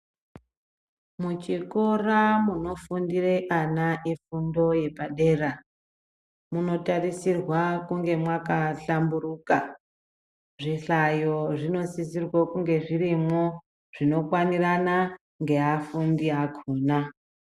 Muchikora munofundira ana efundo yepadera munotarisirwa kunge mwakahlamburuka. Zvihlayo zvinosisirwe kunge zvirimwo zvinokwanirana ngeafundi akhona.